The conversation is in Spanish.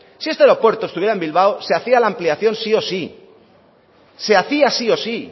si ese aeropuerto estuviera en bilbao se hacía la ampliación sí o sí se hacía sí o sí